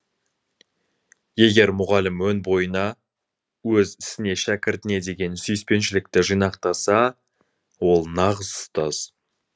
егер мұғалім өн бойына өз ісіне шәкіртіне деген сүйіспеншілікті жинақтаса ол нағыз ұстаз